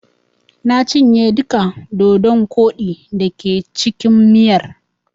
Na cinye duka dodon koɗi da ke cikin miyar.